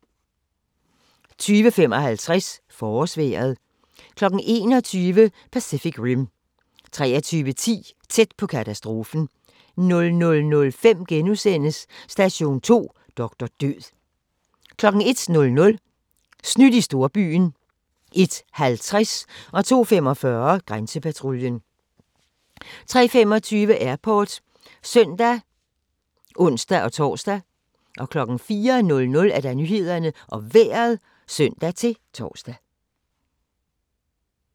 20:55: Forårsvejret 21:00: Pacific Rim 23:10: Tæt på katastrofen 00:05: Station 2: Doktor Død * 01:00: Snydt i storbyen 01:50: Grænsepatruljen 02:45: Grænsepatruljen 03:25: Airport (søn og ons-tor) 04:00: Nyhederne og Vejret (søn-tor)